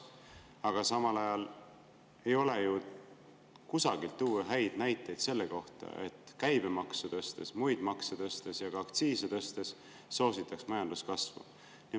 Aga samal ajal ei ole ju kusagilt tuua häid näiteid selle kohta, et käibemaksu tõstes, muid makse tõstes ja ka aktsiise tõstes soositaks majanduskasvu.